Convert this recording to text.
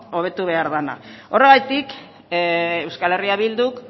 hobetu behar dena horregatik euskal herria bilduk